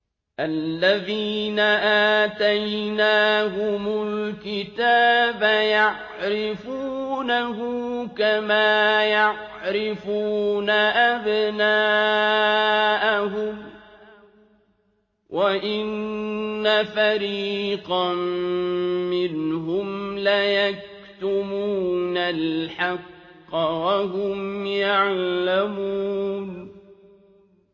الَّذِينَ آتَيْنَاهُمُ الْكِتَابَ يَعْرِفُونَهُ كَمَا يَعْرِفُونَ أَبْنَاءَهُمْ ۖ وَإِنَّ فَرِيقًا مِّنْهُمْ لَيَكْتُمُونَ الْحَقَّ وَهُمْ يَعْلَمُونَ